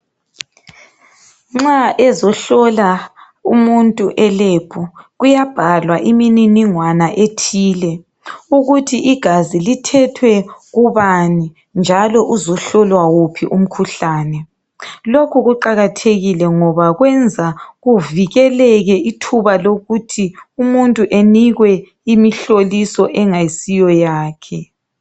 Nxa ezohlola umuntu eLab kuyabhalwa imininingwana ethile ukuthi igazi lithethwe kubani njalo uzohlolwa wuphi umkhuhlane lokhu kuqakathekile ngoba kwenza kuvikeleke ithuba lokuthi umuntu anikwe imihloliso engayisiyo yakhe.